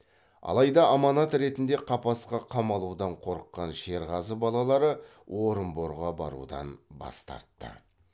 алайда аманат ретінде қапасқа қамалудан қорыққан шерғазы балалары орынборға барудан бас тартты